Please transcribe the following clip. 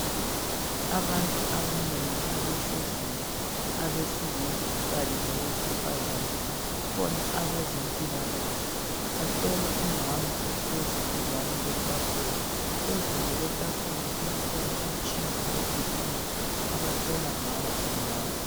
Abantu abanengi abahleziyo abesilisa kanye labesifazana . Kukhona abezempilakahle , bahlola umama ohlezi duzane kwetafula. Phezulu kwetafula kukhona umtshina we BP abahlola ngawo umama.